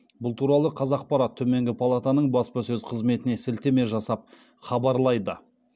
бұл туралы қазақпарат төменгі палатаның баспасөз қызметіне сілтеме жасап хабарлайды